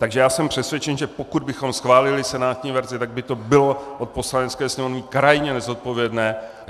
Takže já jsem přesvědčen, že pokud bychom schválili senátní verzi, tak by to bylo od Poslanecké sněmovny krajně nezodpovědné.